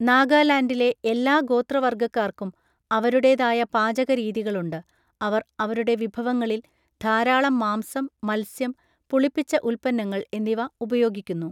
നാഗാലാൻഡിലെ എല്ലാ ഗോത്രവർഗക്കാർക്കും അവരുടേതായ പാചകരീതികളുണ്ട്, അവർ അവരുടെ വിഭവങ്ങളിൽ ധാരാളം മാംസം, മത്സ്യം, പുളിപ്പിച്ച ഉൽപ്പന്നങ്ങൾ എന്നിവ ഉപയോഗിക്കുന്നു.